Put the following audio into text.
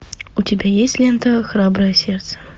у тебя есть лента храброе сердце